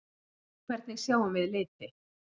Hvernig sjáum við liti?